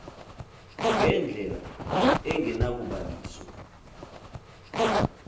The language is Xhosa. nge ndlela engenakubaliswa